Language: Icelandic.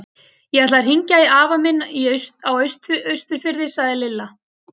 Ég ætla að hringja í afa minn á Austurfirði sagði Lilla.